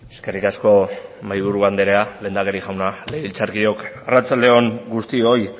eskerrik asko mahaiburu anderea lehendakari jauna legebiltzarkideok arratsalde on guztioi